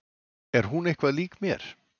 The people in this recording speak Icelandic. Er hún eitthvað lík mér?